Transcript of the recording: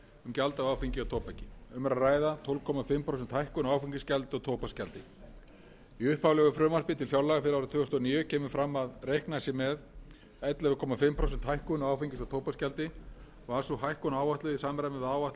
gjald af áfengi og tóbaki um er að ræða tólf og hálft prósent hækkun á áfengisgjaldi og tóbaksgjaldi í upphaflegu frumvarpi til fjárlaga fyrir árið tvö þúsund og níu kemur fram að reiknað sé með ellefu og hálft prósent hækkun á áfengis og tóbaksgjaldi var sú hækkun áætluð í samræmi við áætlaða